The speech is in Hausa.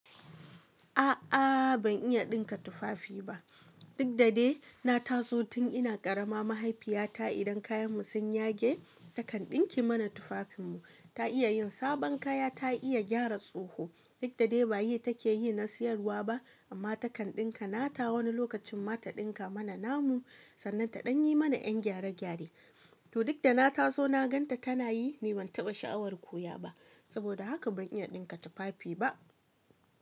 A'a ban iya ɗinka tufafi ba. Duk da dai na taso tun ina karama mahaifiyata idan kayanmu sun yage takan ɗinke mana tufafinmu. Ta iya yin sabon kaya, ta iya gyara tsoho. Duk da dai ba yi take yi na siyarwa ba amma takan ɗinka. Na ta wani lokacin ma ta ɗinka mana namu sannan ta ɗanyi mana 'yan gyare gyare. To duk da na taso na gan ta tana yi ni ban taɓa sha'awar koya ba. Saboda haka ban iya ɗinka tufafi ba.